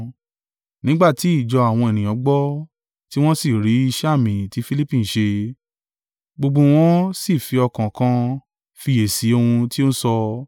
Nígbà tí ìjọ àwọn ènìyàn gbọ́, tí wọn sì rí iṣẹ́ àmì tí Filipi ń ṣe, gbogbo wọn sì fi ọkàn kan fiyèsí ohun tí ó ń sọ.